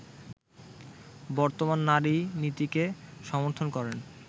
বর্তমান নারী-নীতিকে সমর্থন করেন